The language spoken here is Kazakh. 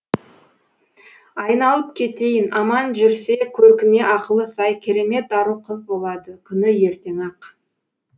айналып кетейін аман жүрсе көркіне ақылы сай керемет ару қыз болады күні ертең ақ